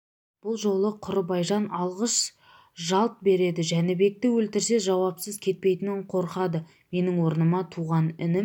бұл жолы құрыбай жан алғыш жалт береді жәнібекті өлтірсе жауапсыз кетпейтінінен қорқады менің орныма туған інім